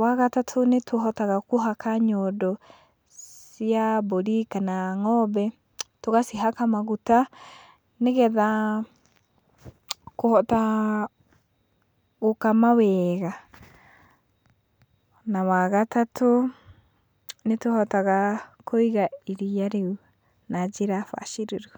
Wa gatatũ, nĩtũhotaga kũhaka nyondo cia mbũri kana ng'ombe, tũgacihaka maguta, nĩgetha kũhota gũkama weega. Na wa gatatũ, nĩtũhotaga kũiga iria rĩu na njĩra bacĩrĩru.